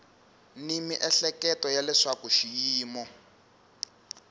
ni miehleketo ya leswaku xiyimo